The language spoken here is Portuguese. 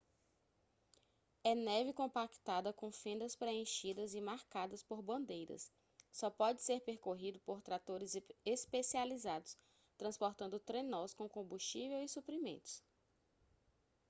é neve compactada com fendas preenchidas e marcadas por bandeiras só pode ser percorrido por tratores especializados transportando trenós com combustível e suprimentos